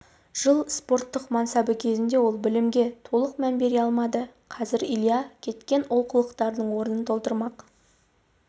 жыл спортық мансабы кезінде ол білімге толық мән бере алмады қазір илья кеткен олқылықтардың орнын толтырмақ